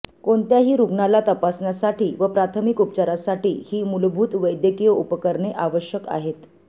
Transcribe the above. कोणत्याही रुग्णाला तपासण्यासाठी व प्राथमिक उपचारासाठी ही मुलभूत वैद्यकिय उपकरणे आवशक आहेत